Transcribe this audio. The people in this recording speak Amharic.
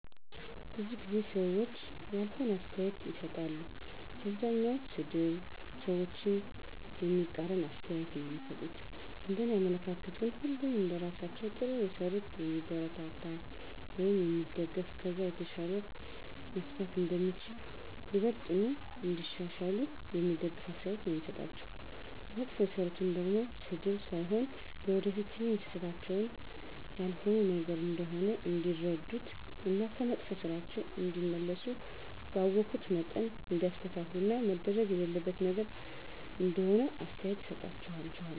ብዙ ጊዜ ሰዎች ያልሆነ አስተያየቶችን ይሰጣሉ። አብዛኛዉ ሰድብ፣ ሰዎችን የሚቃረን አስተያየቶች ነዉ እሚሰጡት፤ እንደኔ አመለካከት ግን ሁሉንም እንደስራቸዉ ጥሩ የሰሩትን የሚያበረታታ ወይም የሚደገፍ ከዛ የተሻለ መስራት እንደሚቻል፣ ይበልጥኑ እንዲያሻሽሉ የሚደግፍ አስተያየት ነዉ የምሰጣቸዉ፣ መጥፎ የሰሩትን ደሞ ስድብ ሳይሆን ለወደፊት ይሀን ስህተታቸዉን ያልሆነ ነገር እንደሆነ እንዲረዱት እና ከመጥፋ ስራቸዉ እንዲመለሱ ባወኩት መጠን እንዲያስተካክሉት እና መደረግ የሌለበት ነገር እንደሆነ አስተያየት እሰጣቸዋለሁ።